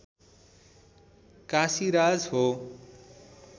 काशीराज हो